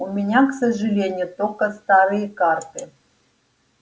у меня к сожалению только старые карты